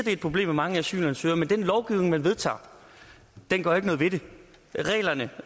er et problem med mange asylansøgere men at den lovgivning man vedtager ikke gør noget ved det reglerne